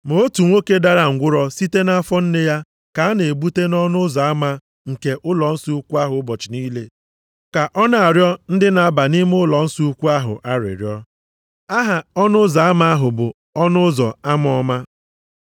Ma otu nwoke dara ngwụrọ site nʼafọ nne ya ka a na-ebute nʼọnụ ụzọ ama nke ụlọnsọ ukwu ahụ ụbọchị niile ka ọ na-arịọ ndị na-aba nʼime ụlọnsọ ukwu ahụ arịrịọ. Aha ọnụ ụzọ ama ahụ bụ ọnụ ụzọ ama ọma.